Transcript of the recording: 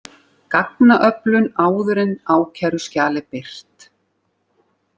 Gagnaöflun áður en ákæruskjal er birt